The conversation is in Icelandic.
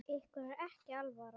Ykkur er ekki alvara!